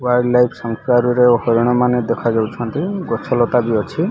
Wild life ରେ ହରିଣ ମାନେ ଦେଖଯାଉଛନ୍ତି ଗଛ ଲତା ବି ଅଛି।